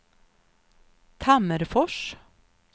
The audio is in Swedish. Tammerfors